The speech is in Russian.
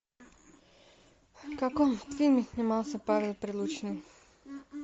в каком фильме снимался павел прилучный